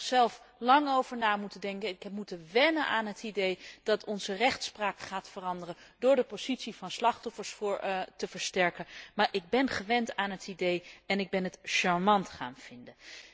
Ik heb er zelf lang over na moeten denken en heb moeten wennen aan het idee dat onze rechtspraak gaat veranderen door de positie van slachtoffers te versterken. Maar ik gewend aan het idee en ik ben het charmant gaan vinden.